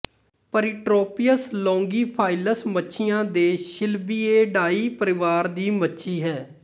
ਪਰੀਟ੍ਰੋਪੀਅਸ ਲੌਂਗੀਫਾਈਲਸ ਮੱਛੀਆਂ ਦੇ ਸ਼ਿਲਬੀਏਡਾਈ ਪਰਿਵਾਰ ਦੀ ਮੱਛੀ ਹੈ